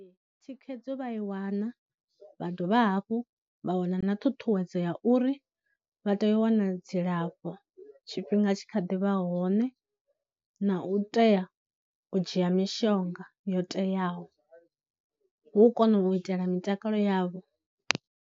Thikhedzo vha i wana vha dovha hafhu vha wana na ṱhuṱhuwedzo ya uri vha tea u wana dzilafho tshifhinga tshi kha ḓivha hone, na u tea u dzhia mishonga yo teaho hu u kona u itela mitakalo yavho.